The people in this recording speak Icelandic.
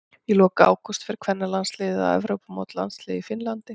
Í lok ágúst fer kvennalandsliðið á Evrópumót landsliða í Finnlandi.